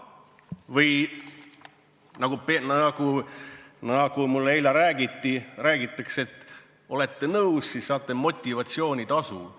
Või nagu mulle eile räägiti, et kui olete nõus, siis saate motivatsioonitasu.